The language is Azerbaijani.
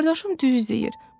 qardaşım düz deyir.